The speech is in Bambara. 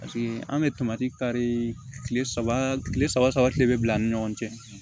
paseke an be tamati kari kile saba kile saba saba kile bɛ bila an ni ɲɔgɔn cɛ